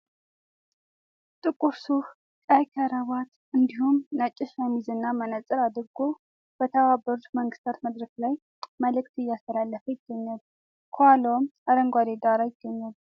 ጥቁር ሱፍ ቀይ ካራባት እንዲሁም ነጭ ሸሚዝ እና መነጽር አድርጎ በተባበሩት መንግታት መድረክ ላይ መልዕክት እያስተላለፈ ይገኛል ከኋላውም አረንጓዴ ዳራ ይገኛል ።